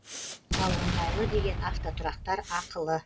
ал ыңғайлы деген автотұрақтар ақылы